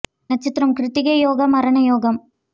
நட்சத்திரம் கிருத்திகை யோகம் மரணயோகம்